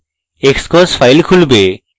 xcos file খুলবে